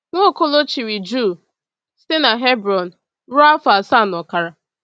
Nwaokolo chịrị Juu site n’Hebron ruo afọ asaa na ọkara.